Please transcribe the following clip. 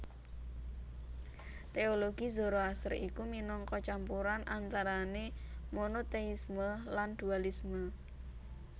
Téologi Zoroaster iku minangka campuran antarané monotéisme lan dualisme